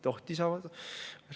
Tohtis avada.